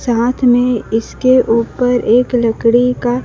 साथ में इसके ऊपर एक लकड़ी का--